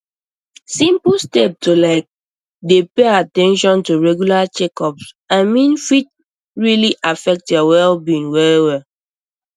simple steps like to dey pay at ten tion to regular checkups i mean fit really affect your wellbeing well well